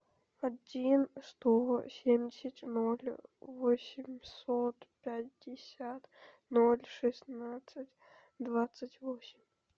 один сто семьдесят ноль восемьсот пятьдесят ноль шестнадцать двадцать восемь